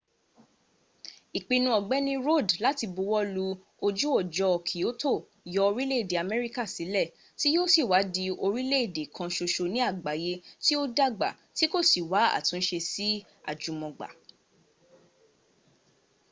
ìpinnú ọ̀gbẹ́ni rudd láti buwọ́lú ojú ọjọ́ kyoto yọ orílẹ̀ èdè amẹríka sílẹ̀ tí yóò sì wá di orílẹ́ èdè kan ṣoṣo ní àgbáyé tí ó dàgbà tí kò sì wá́ àtúnṣe sí àjùmọ̀gbà